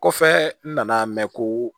Kɔfɛ n nana mɛn ko